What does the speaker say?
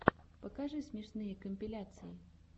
покажи смешные компиляции